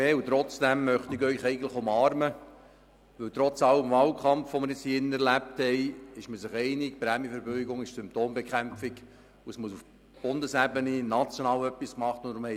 Dennoch möchte ich Sie eigentlich umarmen, weil man sich trotz Wahlkampf, den wir nun hier im Grossen Rat erlebt haben, einig ist, dass die Prämienverbilligungen Symptombekämpfung sind und auf nationaler Ebene etwas getan werden muss.